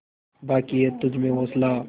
बाक़ी है तुझमें हौसला